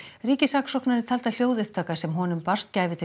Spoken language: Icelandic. ríkissaksóknari taldi að hljóðupptaka sem honum barst gæfi til